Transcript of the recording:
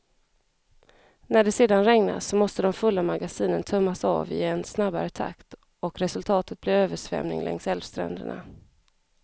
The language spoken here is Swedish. När det sedan regnar, så måste de fulla magasinen tömmas av i en snabbare takt och resultatet blir översvämning längs älvstränderna.